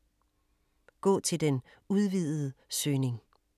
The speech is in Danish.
Gå til den udvidede søgning